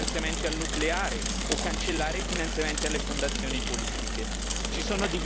Ci sono diverse opzioni disponibili, serve soltanto la volontà politica per farlo.